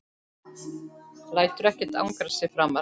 Lætur ekkert angra sig framar.